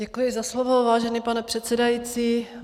Děkuji za slovo, vážený pane předsedající.